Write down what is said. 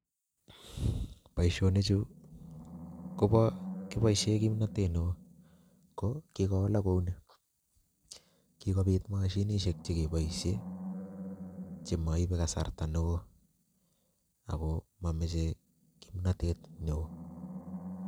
Boisionichu kobo kiboisie kimnotet ne oo, ko kikowalak kou ni, kikobit mashinisiek che keboisie chemoibe kasarta ne oo ako mamache kimnotet ne oo.